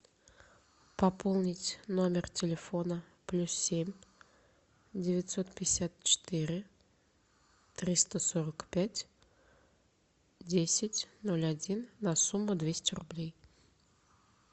пополнить номер телефона плюс семь девятьсот пятьдесят четыре триста сорок пять десять ноль один на сумму двести рублей